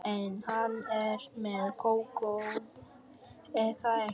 En hann er með Kókó, er það ekki?